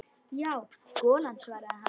Já, golan svaraði hann.